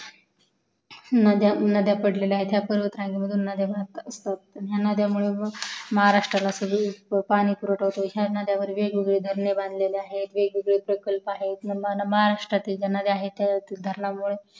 नद्या पडलेल्या आहेत हया पर्वत रांगेमधून नद्या वाहत असतात पण हया नदयामुळे महारास्त्राला सगळीकडे पाणी पुरवठा होतो आणि वेगा वेगळे झरणे बांधलेले आहेत हे वेग वेगळे प्रकल्प आहेत महारस्त्रातील ज्या नद्या आहेत हया धरणामुळे